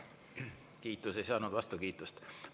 Kiitus ei saanud vastukiitust.